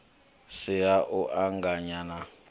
si ha u anganya na